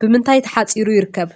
ብምንታይ ተሓፂሩ ይርከብ?